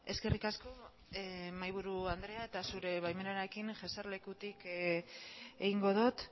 eskerrik asko mahaiburu andrea eta zure baimenarekin jesarlekutik egingo dut